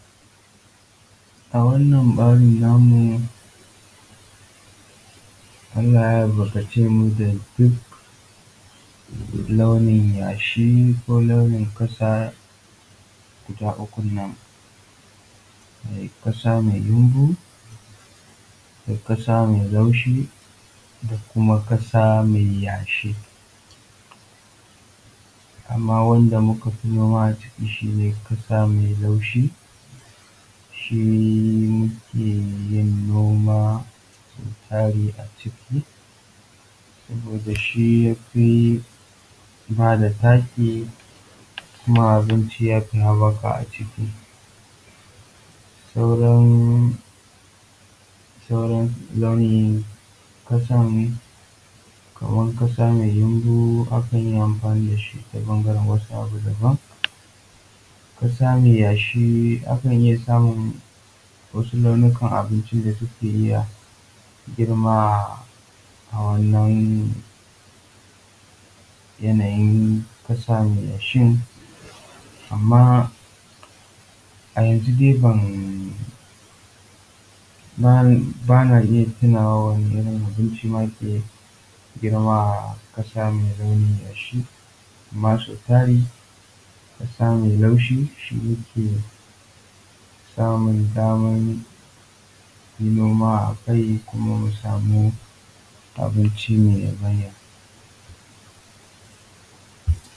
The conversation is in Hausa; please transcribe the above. A wannan ɓarin namu Allah ya albarkace mu da duk nau'in yashi, ko nau'in ƙasa guda ukun nan. Ƙasa mai yamɓu, da ƙasa mai laushi, da kuma ƙasa mai yashi. Amma wanda muka fi noma a ciki shi ne ƙasa mai laushi, shi muke yin noma sau tari a ciki saboda shi ya fi ba da taki, kuma abinci ya fi haɓaka a ciki. Sauran sauran nau'in ƙasan kaman ƙasa mai yumɓu, akan yi amfani da shi ta bangaren wasu abu daban. Ƙasa mai yashi akan iya samun wasu launukan abinci da suke iya girma a wannan yanayin ƙasa mai yashin. Amma a yanzu dai ban ba na iya tunawa wane irin abinci ma ke girma a ƙasa mai launin yashi. Amma sau tari ƙasa mai laushi shi yake samun daman yin noma a kai kuma mu samu abinci mai yabanya.